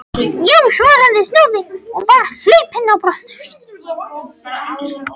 Já, svaraði snáðinn og var hlaupinn.